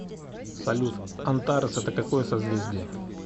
салют антарес это какое созвездие